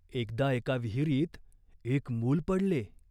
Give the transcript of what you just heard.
एकदा एका विहिरीत एक मूल पडले.